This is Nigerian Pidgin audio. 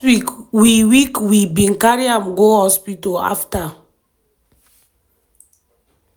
"last week we week we bin carry am go hospital afta